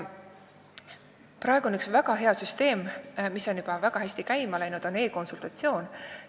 Praegu on juba käima läinud üks väga hea süsteem, e-konsultatsioon.